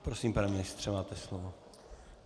Prosím, pane ministře, máte slovo.